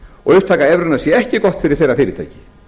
og upptaka evrunnar sé ekki góð fyrir þeirra fyrirtæki